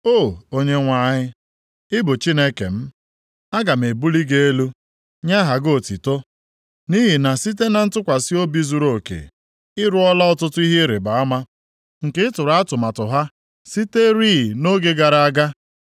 O Onyenwe anyị, ị bụ Chineke m; aga m ebuli gị elu, nye aha gị otuto, nʼihi na site na ntụkwasị obi zuruoke, ị rụọla ọtụtụ ihe ịrịbama, nke i tụrụ atụmatụ ha siterị nʼoge gara aga.